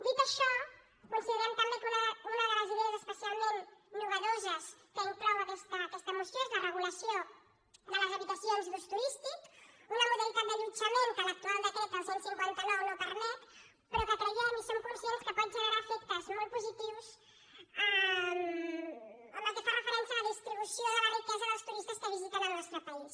dit això considerem també que una de les idees espe·cialment innovadores que inclou aquesta moció és la regulació de les habitacions d’ús turístic una moda·litat d’allotjament que l’actual decret el cent i cinquanta nou no per·met però que creiem i som conscients que pot generar efectes molt positius en el que fa referència a la distri·bució de la riquesa dels turistes que visiten el nostre país